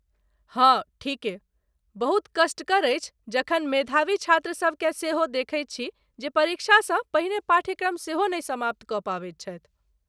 हाँ ठीके , बहुत कष्टकर अछि जखन मेधावी छात्रसबकेँ सेहो देखैत छी जे परीक्षासँ पहिने पाठ्यक्रम सेहो नहि समाप्त कऽ पाबैत छथि।